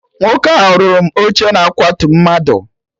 Nwoke ahụ rụrụ m oche na akwatu mmadụ